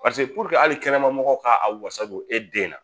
paseke puruke hali kɛnɛma mɔgɔw ka a wasa don e den na